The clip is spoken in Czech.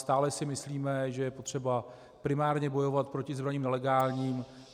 Stále si myslíme, že je potřeba primárně bojovat proti zbraním nelegálním.